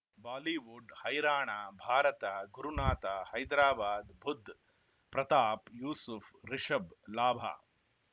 Bollywood ಹೈರಾಣ ಭಾರತ ಗುರುನಾಥ ಹೈದರಾಬಾದ್ ಬುಧ್ ಪ್ರತಾಪ್ ಯೂಸುಫ್ ರಿಷಬ್ ಲಾಭ